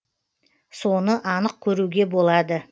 соны анық көруге болады